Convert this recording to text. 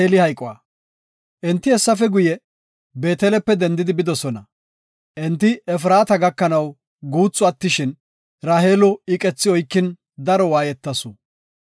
Enti hessafe guye, Beetelepe dendidi bidosona. Enti Efraata gakanaw guuthu attishin, Raheelo iqethi oykin daro waayetasu.